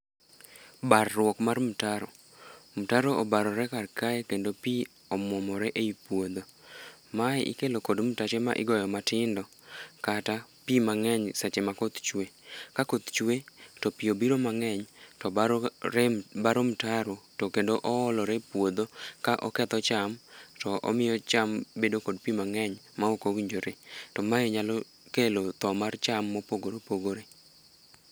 Barruok mar mtaro. Mtaro obarore karkae kendo pi omwomore e i puodho. Mae ikelo kod mtache ma igoyo matindo kata pi mang'eny seche ma koth chwe. Ka koth chwe to pi obiro mang'eny to baro mtaro to kendo oolore e puodho ka oketho cham to omiyo cham bedo kod pi mang'eny ma okowinjore to mae nyalo kelo tho mar cham mopogore opogore.